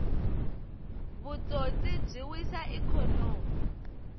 vutsotsi byi wisa ikhonomi